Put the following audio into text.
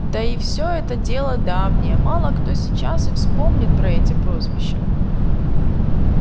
да и все это дело давнее мало кто сейчас и вспомнит про эти прозвища